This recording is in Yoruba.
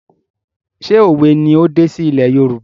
ṣé òwe ni ó dé sí ilé Yorùbá?